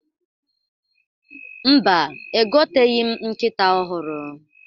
Mba, egoteghi m nkịta ọhụrụ.